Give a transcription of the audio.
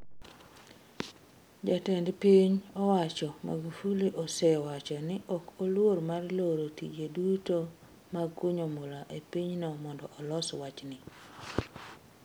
Jatend piny owacho Magufuli osewacho ni ok oluor mar loro tije duto mag kunyo mula e pinyno mondo olos wachni.